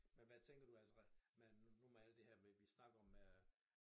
Men hvad tænker du altså man nu med alt det her med vi snakker om øh